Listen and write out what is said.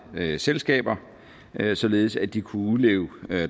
selskaber således at de kunne udleve